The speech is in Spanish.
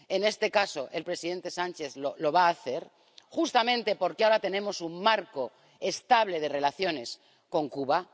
En este caso, el presidente Sánchez lo va a hacer justamente porque ahora tenemos un marco estable de relaciones con Cuba.